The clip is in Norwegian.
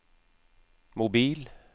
mobil